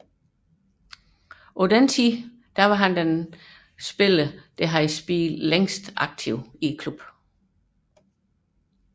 På dette tidspunkt var han klubbens næst længst aktive spiller